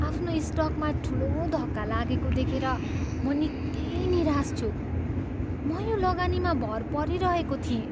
आफ्नो स्टकमा ठुलो धक्का लागेको देखेर म निकै निराश छु। म यो लगानीमा भर परिरहेको थिएँ।